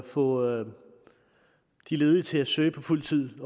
få de ledige til at søge på fuld tid